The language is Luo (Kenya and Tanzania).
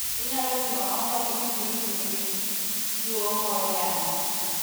Inyalo timo ang'o kapo ni gwendi nigi tuwo moro yamo?